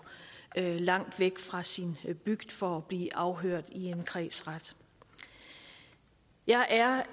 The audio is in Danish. langt væk fra sin bygd for at blive afhørt i en kredsret jeg er